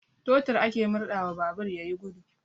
Totur ake murɗawa babur ya yi gudu.